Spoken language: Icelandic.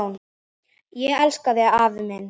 Ég elska þig, afi minn!